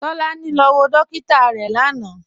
Tolani lọ wọ dòkìtà rẹ lánà.